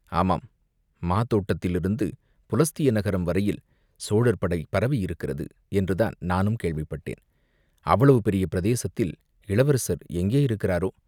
ஆமாம், மாதோட்டத்திலிருந்து புலஸ்திய நகரம் வரையில் சோழர் படை பரவியிருக்கிறது என்றுதான் நானும் கேள்விப்பட்டேன், அவ்வளவு பெரிய பிரதேசத்தில் இளவரசர் எங்கே இருக்கிறாரோ